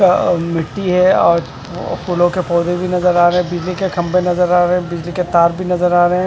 अ मिट्टी है और फूलों के पौधे भी नजर आ रहे हैं बिजली के खंभे नजर आ रहे हैं बिजली के तार भी नजर आ रहे हैं।